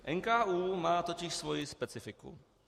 NKÚ má totiž svoji specifiku.